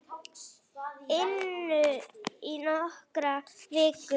inu í nokkrar vikur.